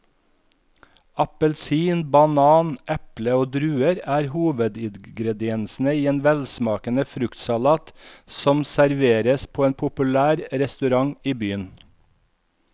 Appelsin, banan, eple og druer er hovedingredienser i en velsmakende fruktsalat som serveres på en populær restaurant i byen.